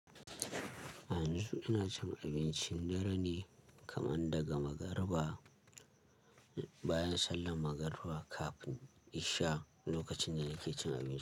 Yanzu ina cin abincin dare ne kaman daga magariba, bayan sallan magariba kaf insha, lokacin ne nake cin abinci.